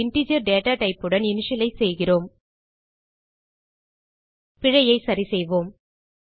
அதை integer data type உடன் initialise செய்கிறோம் பிழையை சரிசெய்வோம்